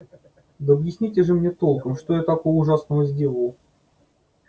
да объясните же мне толком что такого ужасного я сделал